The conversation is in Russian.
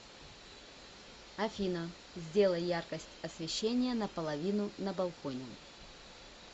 афина сделай яркость освещения на половину на балконе